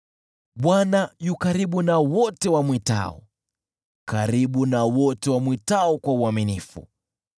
Bwana yu karibu na wote wamwitao, karibu na wote wamwitao kwa uaminifu.